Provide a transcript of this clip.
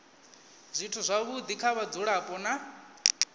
zwithu zwavhudi kha vhadzulapo na